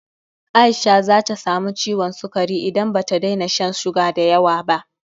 Aisha zata samu ciwon sukari in bata daina shan suga dayawa ba